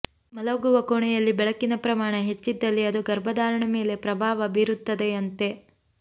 ಮಲಗುವ ಕೋಣೆಯಲ್ಲಿ ಬೆಳಕಿನ ಪ್ರಮಾಣ ಹೆಚ್ಚಿದ್ದಲ್ಲಿ ಅದು ಗರ್ಭಧಾರಣೆ ಮೇಲೆ ಪ್ರಭಾವ ಬೀರುತ್ತದೆಯಂತೆ